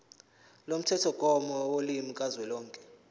lomthethomgomo wolimi kazwelonke